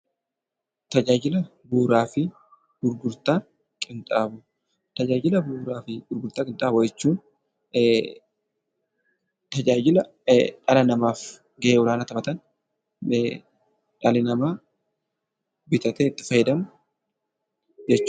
Tajaajila bu'uuraa fi gurgurtaa qinxaamoo jechuun tajaajila dhala namaaf gahee olaanaa taphatan, dhalli namaa bitatee itti fayyadamu jechuudha.